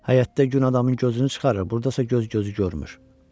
Həyətdə gün adamın gözünü çıxarır, burdasa göz gözü görmür.